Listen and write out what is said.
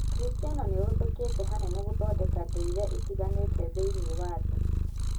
ũkristiano nĩũhũthĩkĩte hanene gũthondeka ndũire itiganĩte thĩiniĩ wa thĩ